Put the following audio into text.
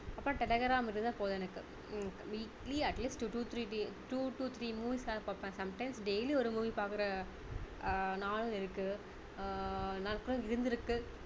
அப்ப டெடகிராம் இருந்தா போதும் எனக்கு உம் weekly atleast two to three the~ two to three movies ஆவது பார்ப்பேன் sometimes daily ஒரு movie பாக்குற அஹ் நாள் இருக்கு ஆஹ் நாட்கள் இருந்திருக்கு